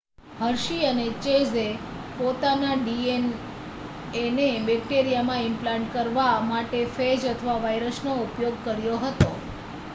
Hershey અને ચેઝે પોતાના ડીએનએને બેક્ટેરિયામાં ઇમ્પ્લાન્ટ કરવા માટે ફેજ અથવા વાઇરસનો ઉપયોગ કર્યો હતો